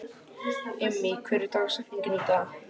Immý, hver er dagsetningin í dag?